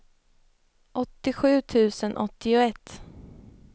åttiosju tusen åttioett